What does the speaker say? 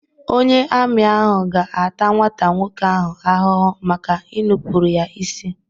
Onye ami ahụ ga-ata nwata nwoke ahụ ahụhụ maka inupụrụ ya isi.